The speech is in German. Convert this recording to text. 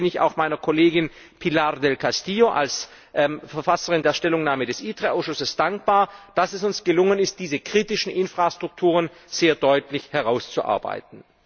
Deswegen bin ich auch meiner Kollegin Pilar del Castillo Vera als Verfasserin der Stellungnahme des ITRE Ausschusses dankbar, dass es uns gelungen ist, diese kritischen Infrastrukturen sehr deutlich herauszuarbeiten.